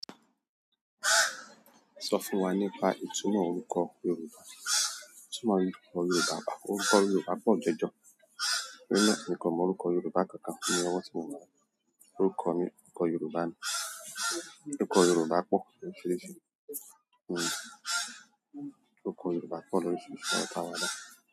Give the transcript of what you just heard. Sọ fún wa nípa ìtumọ̀ orúkọ Yorùbá. Ìtumọ̀ orúkọ Yorùbá, à orúkọ Yorùbá pọ̀ jọjọ. Mi o mọ orúkọ Yoruba kan kan ni ọwọ́ ti mo wa yi. Orúkọ mi orúkọ Yoruba ni. Òrùkọ Yorùbá pọ̀ lórísirisi. Òrùkọ Yorùbá pọ̀ lórísirísí.